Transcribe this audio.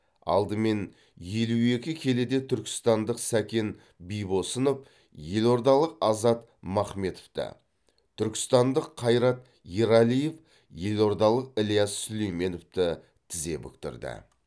алдымен елу екі келіде түркістандық сәкен бибосынов елордалық азат махметовті түркістандық қайрат ерәлиев елордалық ілияс сүлейменовті тізе бүктірді